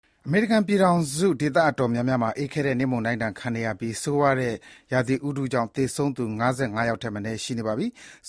အမေရိကန်ပြည်ထောင်စု ဒေသတော်တော်များများမှာ အေးခဲတဲ့နှင်းမုန်တိုင်းဒဏ်ခံနေရပြီး ဆိုးဝါးတဲ့ရာသီဥတုကြောင့် သေဆုံးသူ ၅၅ ယောက် ထက်မနည်း ရှိနေပါပြီ။